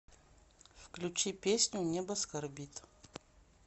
включи песню небо скорбит